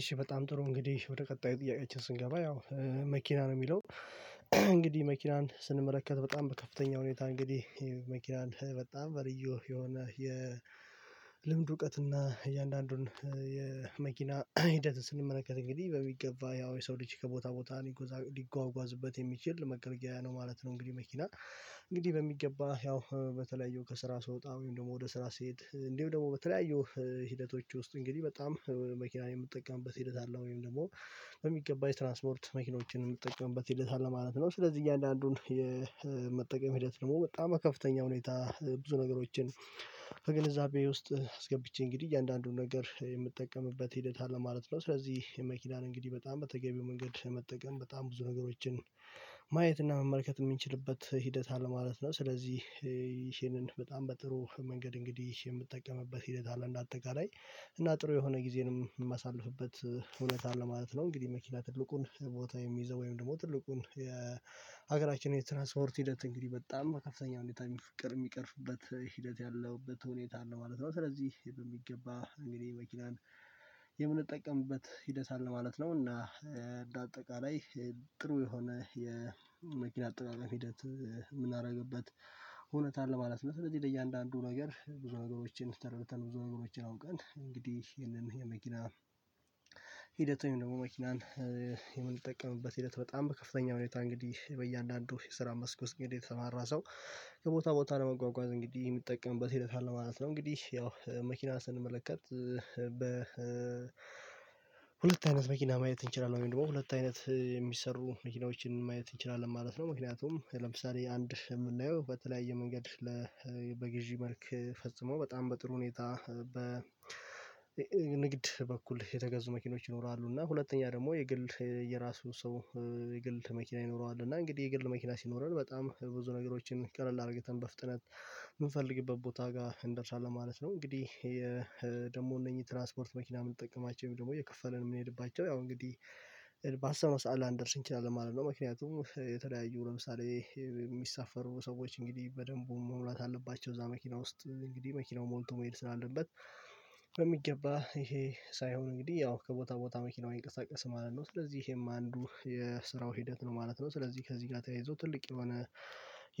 እሺ በጣም ጥሩ እንግዲህ ወደ ቀጣዩ ጥያቄያቸው ስንገባ ያው መኪና ነው የሚለው። እንግዲህ መኪናን ስንመለከት በጣም በከፍተኛ ሁኔታ እንግዲህ የመኪናን በጣም በልዩ የሆነ የልምድ እውቀት እና እያንዳንዱን የመኪና ሂደትን ስንመለከት እንግዲህ በሚገባ ያው የሰው ልጅ ከቦታ ቦታ ሊጓጓዝበት የሚችል መገልገያ ነው ማለት ነው። እንግዲህ መኪና እንግዲህ በሚገባ ያው በተለያዩ ከስራ ስወጣ ወይም ደግሞ ወደ ስራ ስንሄድ እንዲሁ ደግሞ በተለያዩ ሂደቶች ውስጥ እንግዲህ በጣም መኪና የምትጠቀምበት ሂደት አለ ወይም ደግሞ በሚገባው የትራንስፖርት መኪኖችን የምንጠቀምበት ሂደት አለ ማለት ነው። ስለዚህ እያንዳንዱን የመጠቀም ሂደት ደግሞ በጣም ከፍተኛ ሁኔታ ብዙ ነገሮችን ከግንዛቤ ውስጥ አስገብቼ እንግዲህ እያንዳንዱን ነገር የምጠቀምበት ሂደት አለ ማለት ነው። ስለዚህ የመኪናን እንግዲህ በጣም በተገቢው መንገድ መጠቀም በጣም ብዙ ነገሮችን ማየት እና መመርከት የምንችልበት ሂደት አለ ማለት ነው። ስለዚህ ይሄንን በጣም በጥሩ መንገድ እንግዲህ የምትጠቀምበት ሂደት አለ እንደ አጠቃላይ እና ጥሩ የሆነ ጊዜንም የማሳልፍበት እውነት አለ ማለት ነው። እንግዲህ መኪና ትልቁን ቦታ የሚይዘው ወይም ደግሞ ትልቁን የሀገራችን የትራንስፖርት ሂደት እንግዲህ በጣም ከፍተኛ ሁኔታ የሚፈቅድ የሚቀርፍበት ሂደት ያለውበት ሁኔታ ነው ማለት ነው። ስለዚህ በሚገባ እንግዲህ መኪናን የምንጠቀምበት ሂደት አለ ማለት ነው እና እንደ አጠቃላይ ጥሩ የሆነ የመኪና አጠቃቀም ሂደት የምናደርግበት ሁኔታ አለ ማለት ነው። እነዚህ ለእያንዳንዱ ነገር ብዙ ነገሮችን ተረድተን ብዙ ነገሮችን አውቀን እንግዲህ ይሄንን የመኪና ሂደቱን ደግሞ መኪናን የምንጠቀምበት ሂደት በጣም በከፍተኛ ሁኔታ እንግዲህ በእያንዳንዱ የስራ መስኮት እንግዲህ የተማራ ሰው ከቦታ ቦታ ለመጓጓዝ እንግዲህ የሚጠቀምበት ሂደት አለ ማለት ነው። እንግዲህ ያው መኪና ስንመለከት በ ሁለት አይነት መኪና ማየት እንችላለን ወይም ደግሞ ሁለት አይነት የሚሰሩ መኪናዎችን ማየት እንችላለን ማለት ነው። ምክንያቱም ለምሳሌ አንድ የምናየው በተለያየ መንገድ ለ በግዢ መልክ ፈጽሞ በጣም በጥሩ ሁኔታ በ ንግድ በኩል የተገዙ መኪኖች ይኖራሉ እና ሁለተኛ ደግሞ የግል የራሱ ሰው የግል መኪና ይኖረዋል እና እንግዲህ የግል መኪና ሲኖረን በጣም ብዙ ነገሮችን ቀለል አድርገተን በፍጥነት የምንፈልግበት ቦታ ጋር እንደርሳለን ማለት ነው። እንግዲህ እነኚህ ትራንስፖርት መኪና የምንጠቀማቸው ደግሞ የከፈልን የምንሄድባቸው ያው እንግዲህ ባሰብነው ሰዓት ላንደርስ እንችላለን ማለት ነው። ምክንያቱም የተለያዩ ለምሳሌ የሚሳፈሩ ሰዎች እንግዲህ በደንቡ መሙላት አለባቸው እዛ መኪና ውስጥ እንግዲህ መኪናው ሞልቶ መሄድ ስላለበት በሚገባ ይሄ ሳይሆን እንግዲህ ያው ከቦታ ቦታ መኪናውን ይንቀሳቀስ ማለት ነው ስለዚህ ይሄም አንዱ የስራው ሂደት ነው ማለት ነው። ስለዚህ ከዚህ ጋር ተያይዞ ትልቅ የሆነ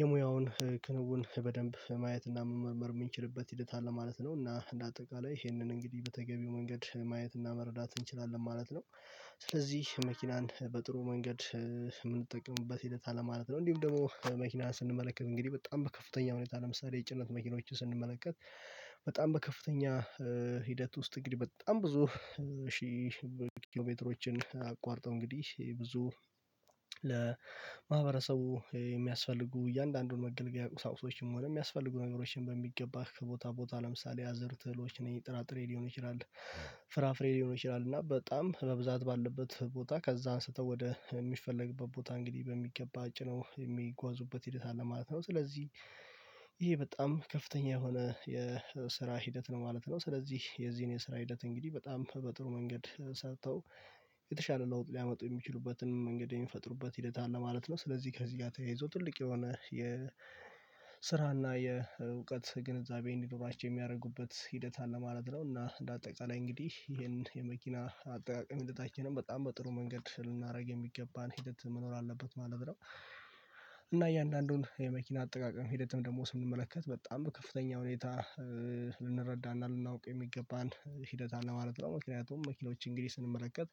የሙያውን ክንውን በደንብ ማየትና መመርመር የምንችልበት ሂደት አለ ማለት ነው። እና እንደ አጠቃላይ ይሄንን እንግዲህ በተገቢው መንገድ ማየት እና መረዳት እንችላለን ማለት ነው። ስለዚህ መኪናን በጥሩ መንገድ የምንጠቀምበት ሂደት አለማለት ነው። እንዲሁም ደግሞ መኪና ስንመለከት እንግዲህ በጣም በከፍተኛ ሁኔታ ለምሳሌ የጭነት መኪኖችን ስንመለከት በጣም በከፍተኛ ሂደት ውስጥ እግዲ በጣም ብዙ ሺህ ኪሎሜትሮችን አቋርጠው እንግዲህ ብዙ ለማህበረሰቡ የሚያስፈልጉ እያንዳንዱን መገልገያ ቁሳቁሶችም ሆነ የሚያስፈልጉ ነገሮችን በሚገባ ከቦታ ቦታ ለምሳሌ አዘርት እህሎች ወይም ጥራጥሬ ሊሆን ይችላል ፍራፍሬ ሊሆን ይችላል እና በጣም በብዛት ባለበት ቦታ ከዛ አንስተው ወደ የሚፈለግበት ቦታ እንግዲህ በሚገባ ጭነው የሚጓዙበት ሂደት አለ ማለት ነው ስለዚህ ይሄ በጣም ከፍተኛ የሆነ የስራ ሂደት ነው ማለት ነው። ስለዚህ የዚህን የስራ ሂደት እንግዲህ በጣም በጥሩ መንገድ ሰጥተው የተሻለ ለውጥ ሊያመጡ የሚችሉበትን መንገድ የሚፈጥሩበት ሂደት አለ ማለት ነው። ስለዚህ ከዚህ ጋር ተያይዞ ትልቅ የሆነ የስራና የእውቀት ግንዛቤን ኖራቸው የሚያደርጉበት ሂደት አለ ማለት ነው። እና እንደ አጠቃላይ እንግዲህ ይሄን የመኪና አጠቃቀም የተቻለ በጣም በጥሩ መንገድ ልናደርግ የሚገባን ሂደት መኖር አለበት ማለት ነው። እና እያንዳንዱን የመኪና አጠቃቀም ሂደትም ደግሞ ስንመለከት በጣም ከፍተኛ ሁኔታ ልንረዳና ልናውቅ የሚገባን ሂደት አለ ማለት ነው። ምክንያቱም መኪኖች እንግዲህ ስንመለከት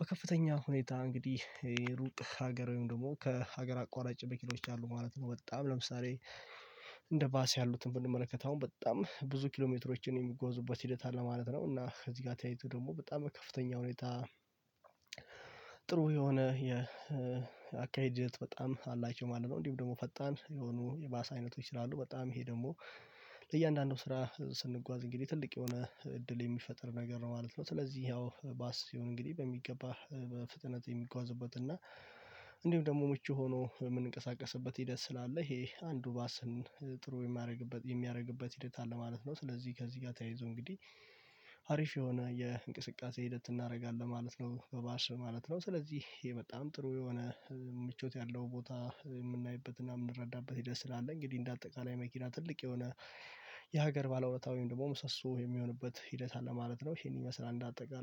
በከፍተኛ ሁኔታ እንግዲህ ሩቅ ሀገር ወይም ደግሞ ከሀገር አቋራጭ መኪኖች አሉ ማለት ነው። በጣም ለምሳሌ እንደ ባስ ያሉትን ብንመለከት አሁን በጣም ብዙ ኪሎሜትሮችን የሚጎዙበት ሂደት አለ ማለት ነው። እና እዚህ ጋር ተያይቶ ደግሞ በጣም ከፍተኛ ሁኔታ ጥሩ የሆነ የአካሄድ ፍጥነት በጣም አላችሁ ማለት ነው። እንዲሁ ደግሞ ፈጣን የሆኑ የባሳ አይነቶች ይችላሉ በጣም ይሄ ደግሞ ለእያንዳንዱ ስራ ስንጓዝ እንግዲህ ትልቅ የሆነ እድል የሚፈጥር ነገር ነው ማለት ነው። ስለዚህ ያው ባስ ይሁን እንግዲህ በሚገባ በፍጥነት የሚጓዝበት እና እንዲሁ ደግሞ ምቹ ሆኖ የምንቀሳቀስበት ሂደት ስላለ ይሄ አንዱ ባስን ጥሩ የሚያደርግበት የሚያደርግበት ሂደት አለ ማለት ነው። ስለዚህ ከዚህ ጋር ተያይዞ እንግዲህ አሪፍ የሆነ የእንቅስቃሴ ሂደት እናደርጋለን ማለት ነው። በባስ ማለት ነው ስለዚህ ይሄ በጣም ጥሩ የሆነ ምቾት ያለው ቦታ የምናይበትና የምንረዳበት ሂደት ስላለ እንግዲህ እንደ አጠቃላይ መኪና ትልቅ የሆነ የሀገር ባለውለታ ወይም ደግሞ ምሰሶ የሚሆንበት ሂደት አለ ማለት ነው። ይሄን ይመስላል እንደ አጠቃላይ